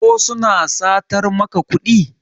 ko suna satar maka kudi?